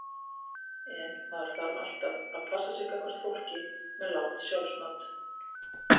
En maður þarf alltaf að passa sig gagnvart fólki með lágt sjálfsmat.